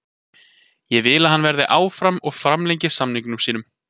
Ég vil að hann verði áfram og framlengi samningi sínum.